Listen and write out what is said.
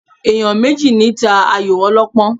Ènìyàn méjì ní ta ayò ọlọ́pọ́n